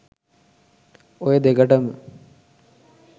ඔය දෙකටම